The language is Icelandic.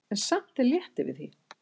En samt er létt yfir því.